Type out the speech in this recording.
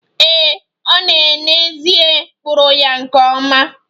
Ee, ọ n'ezie kpụrụ ya nke ọma